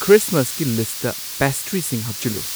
ꯈ꯭ꯔꯤꯁꯃꯁꯀꯤ list ꯄꯦꯁꯇ꯭ꯔꯤꯁꯤꯡ ꯍꯥꯞꯆꯤꯜꯂꯨ